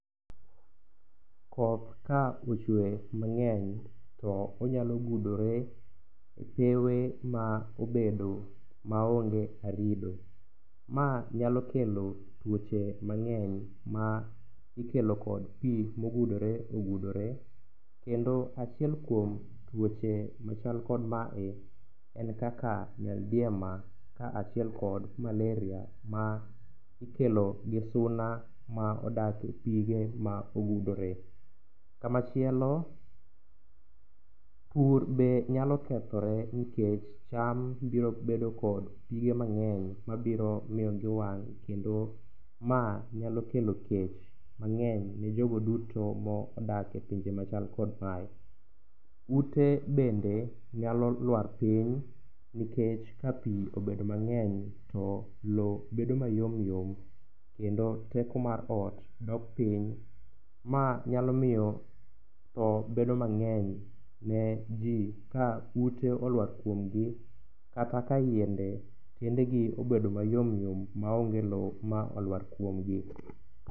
Koth ka ochwe mang'eny to onyalo gudore e sewe ma obedo ma onge arido. Ma nyalo kelo twoche mang'eny ma ikelo kod pi ma ogudore ogudore. Kendo achiel kuom twoche machal kod mae en kaka nyaldiema, ka achiel kod maleria ma ikelo gi suna ma odak e pige ma ogudore. Ka machielo, pur be nyalo kethore nikech cham biro bedo kod pige mang'eny ma biro miyo giwang' kendo ma nyalo kelo kech mang'eny ne jogo duto ma odak e pinje machal kod mae. Ute bende nyalo lwar piny, nikech ka pi obedo mang'eny to lowo bedo mayom yom kendo teko mar ot dok piny. Mae nyalo miyo tho bedo mang'eny, ne ji ka ute olwar kuom gi. Kata ka yiende, tiende gi obedo mayom yom ma onge lowo ma olwar kuom gi.